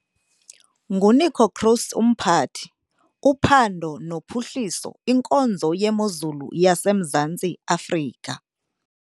NguNico Kroese, uMphathi- uPhando noPhuhliso, Inkonzo yeMozulu yaseMzantsi Afrika.